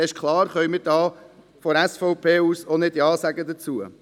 Es ist klar, dass wir von der SVP nicht Ja dazu sagen können.